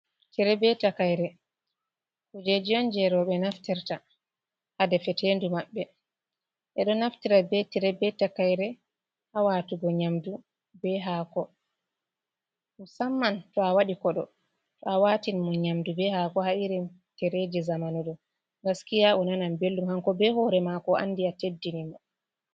Tire be takayre kujeji on jey rowɓe naftirta haa defeteendu maɓɓe. Ɓe ɗo naftira be tire be takayre haa watugo nyamdu be haako musamman to a waɗi koɗo. To a watini mo nyamdu be haako, haa irin tireeji zamanu ɗo, gaskiya o nanan belɗum ,kanko be hoore maako o andi a teddini mo.